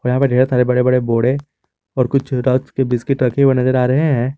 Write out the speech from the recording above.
यहाँ पर ढेर सारे बड़े बड़े बोड़े और कुछ के बिस्किट रखे हुए नजर आ रहे हैं।